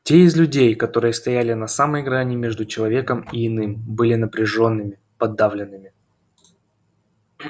те из людей которые стояли на самой грани между человеком и иным были напряжёнными подавленными кхм-кхм